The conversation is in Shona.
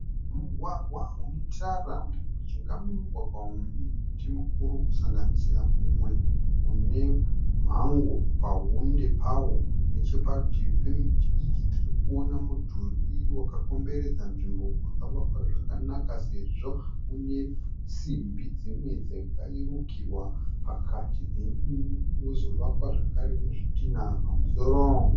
Mugwagwa une tara. Mujinga momugwagwa uyu mune miti mukuru kusanganisira mumwe une mhango pahunde pawo. Necheparutivi pemiti iyi tiri kuona mudhuri wakakomberedza nzvimbo wakavakwa zvakanaka sezvo une simbi dzimwe dzakarukirwa pakati "then" wozovakwa zvakare nezvitinha pamusoro.